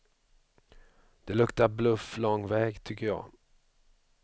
Det luktar bluff lång väg tycker jag.